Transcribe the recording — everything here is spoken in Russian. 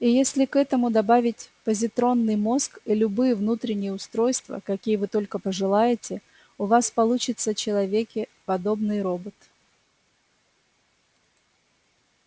и если к этому добавить позитронный мозг и любые внутренние устройства какие вы только пожелаете у вас получится человеке подобный робот